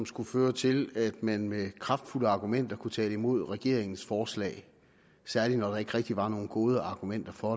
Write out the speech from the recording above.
skulle føre til at man med kraftfulde argumenter kunne tale imod regeringens forslag særlig når der ikke rigtig var nogen gode argumenter for